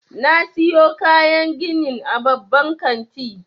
Na siyo kayan ginin a babban kanti.